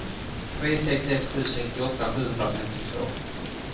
tre sex ett sju sextioåtta sjuhundrafemtiotvå